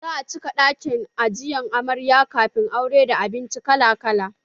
Za a cike ɗakin ajiye amarya kafin aure da abinci kala kala